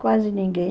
Quase ninguém.